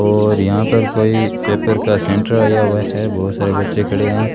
और यहां पर कोई पेपर का सेंटर आया हुआ है बहुत सारे बच्चे खड़े हैं